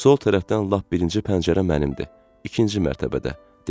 Sol tərəfdən lap birinci pəncərə mənimdir, ikinci mərtəbədə, dedi.